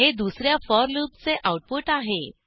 हे दुस या forलूपचे आऊटपुट आहे